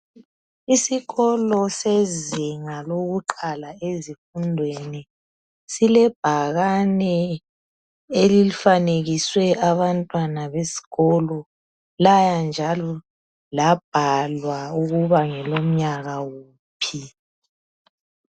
Isikolo sezinga lokuqala ezifundweni silebhakani elifanekiswe abantwana besikolo laya njalo labhalwa ukuba ngelomnyaka uphi.